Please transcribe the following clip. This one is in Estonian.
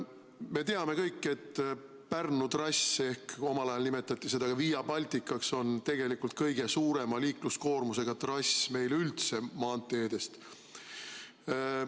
Me teame kõik, et Pärnu trass, omal ajal nimetati seda Via Balticaks, on tegelikult kõige suurema liikluskoormusega trass üldse meie maanteede hulgas.